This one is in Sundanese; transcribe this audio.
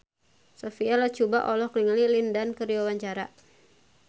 Sophia Latjuba olohok ningali Lin Dan keur diwawancara